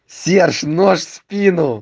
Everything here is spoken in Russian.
серж нож в спину